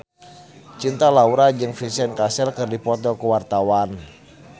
Cinta Laura jeung Vincent Cassel keur dipoto ku wartawan